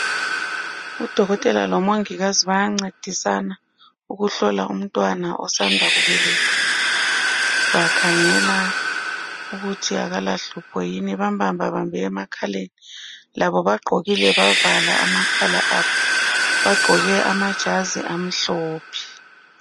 Udokotela lomongikazi bayancedisana ukuhlola umntwana osanda kubelathwa. Bakhangela ukuthi akalahlupho yini, bambambabambe emakhaleni. Labo bagqokile bavala amakhala abo. Bagqoke amajazi amhlophe.